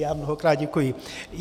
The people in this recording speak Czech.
Já mnohokrát děkuji.